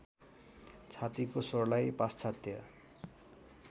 छातीको स्वरलाई पाश्चात्य